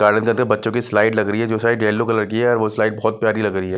Garden जाते समय बच्चों की स्लाइड लग रही है जो स्लाइड येलो कलर की है वो स्लाइड बहुत प्यारी लग रही है।